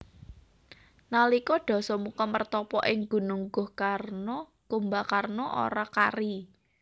Nalika Dasamuka mertapa ing Gunung Gohkarna Kumbakarna ora kari